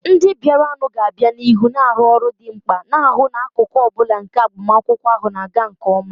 Ndị bịaranụ ga-aga n'ihu na-arụ ọrụ dị mkpa, na-ahụ na akụkụ ọ bụla nke agbamakwụkwọ ahụ na-aga nke ọma.